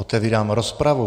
Otevírám rozpravu.